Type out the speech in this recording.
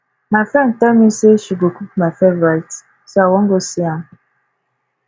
my friend tell me say she go cook my favourite so i wan go see am